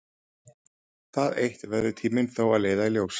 Það eitt verður tíminn þó að leiða í ljós.